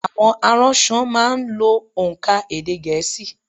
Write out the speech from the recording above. Àwọn aránso má a n lo ònkà èdè gèésì